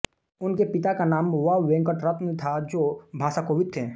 उनके पिता का नाम व वेंकट रत्नम् था जो भाषाकोविद् थे